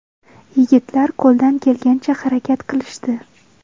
Yigitlar qo‘ldan kelgancha harakat qilishdi.